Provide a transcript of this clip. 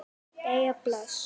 Jæja bless